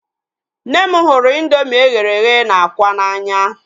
Nne m hụrụ indoomị eghere eghe na ákwà n'anya